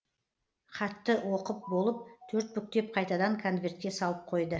хатты оқып болып төрт бүктеп қайтадан конвертке салып қойды